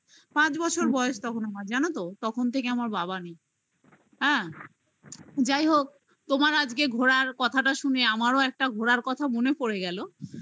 পাঁচ বছর বয়স তখন আমার জানো তো? তখন থেকে আমার বাবা নেই হ্যাঁ যাই হোক তোমার আজকে ঘোড়ার কথাটা শুনে আমারও একটা ঘোরার কথা মনে পড়ে গেল